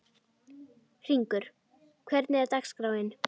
Hringur, hvernig er dagskráin?